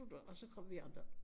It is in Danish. Og så kom vi andre